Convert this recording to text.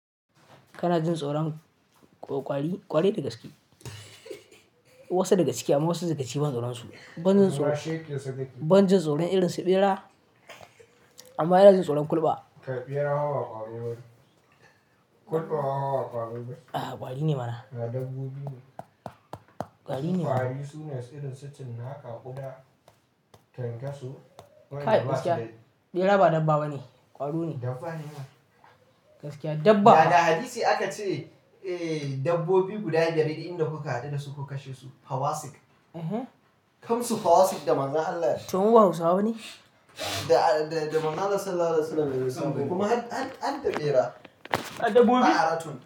Kana jin tsoron ƙwari, ƙwari daga ciki? Wasu daga ciki amma wasu daga ciki ban tsoron su. Ban jin tsoron, ban jin tsoron irin su ɓera amma yana jin tsoron kulɓa. Kai ɓera ma ba ƙwaro ba ne. Kulɓa ma ba ƙwaro ba ne. Ah ƙwari ne mana. Dabbobi ne. Ƙwari ne. Ƙwari su ne irin su cinnaka, ƙuda, kyankyaso. Kai gaskiya, ɓera ba dabba bane, ƙwaro ne. Dabba ne mana. Gaskiya dabba. Baga hadisi aka ce, eh dabbobi guda biyar duk inda kuka haɗu da su ku kashe su, fawasik. Kamsu fawasik da manzon Allah yace. To mu ba hausawa bane? Da, da manzon allah sallallahu alaihi wasallam ya zanta. Kuma an, an, harda bera. Har dabbobi.